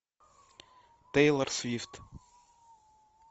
тейлор свифт